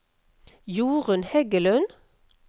Jorunn Heggelund